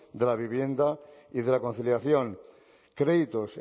de la vivienda y de la conciliación créditos